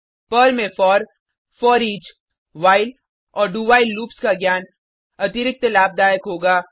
Perl में for foreach while और do while loops का ज्ञान अतिरिक्त लाभदायक होगा